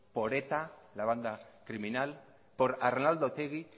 por eta la banda criminal por arnaldo otegi